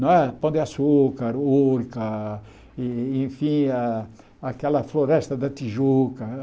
Não é Pão de açúcar, urca, e enfim a aquela floresta da Tijuca.